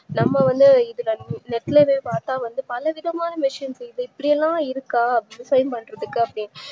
நம்மவந்து இதுல net ல போய் பாத்தா வந்து பலவிதமான machines இது இப்டிலாம் இருக்கா design பண்றதுக்கு